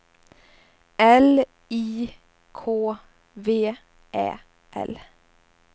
L I K V Ä L